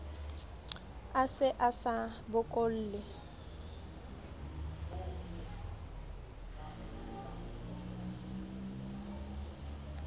a se a sa bokolle